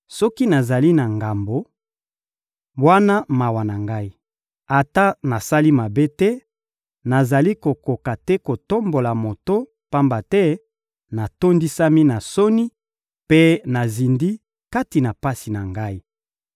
Soki nazali na ngambo, wana mawa na ngai! Ata nasali mabe te, nazali kokoka te kotombola moto, pamba te natondisami na soni mpe nazindi kati na pasi na ngai.